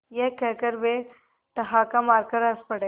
यह कहकर वे ठहाका मारकर हँस पड़े